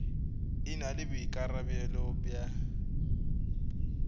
e na le boikarabelo bja